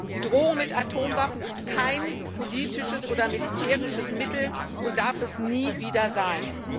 Die Drohung mit Atomwaffen ist kein politisches oder militärisches Mittel und darf es nie wieder sein.